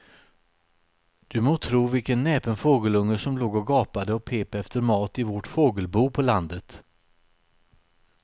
Du må tro vilken näpen fågelunge som låg och gapade och pep efter mat i vårt fågelbo på landet.